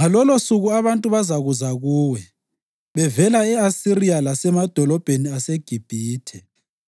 Ngalolosuku abantu bazakuza kuwe bevela e-Asiriya lasemadolobheni aseGibhithe,